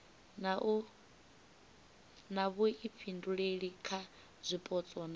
na vhuifhinduleli kha zwipotso na